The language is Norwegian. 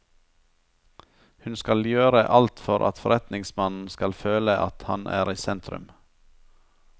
Hun skal gjøre alt for at forretningsmannen skal føle at han er i sentrum.